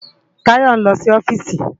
Tayo n lò si òfìsí